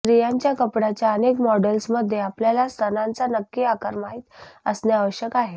स्त्रियांच्या कपड्याच्या अनेक मॉडेल्समध्ये आपल्याला स्तनांचा नक्की आकार माहित असणे आवश्यक आहे